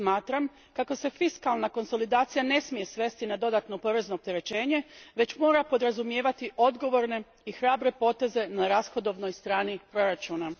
Smatram kako se fiskalna konsolidacija ne smije svesti na dodatno porezno opterećenje, već mora podrazumijevati odgovorne i hrabre poteze na rashodovnoj strani proračuna.